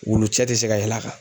Wulu cɛ tɛ se ka yɛl'a kan.